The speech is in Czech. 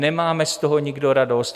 Nemáme z toho nikdo radost.